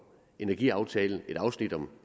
energiaftalen et afsnit om